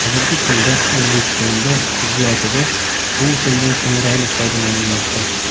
Hozirgi kunda O‘zbekistonda tibbiyotida bu usuldan samarali foydalanilmoqda.